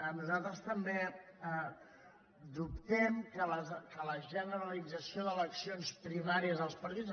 nosaltres també dubtem que la generalització d’eleccions primàries als partits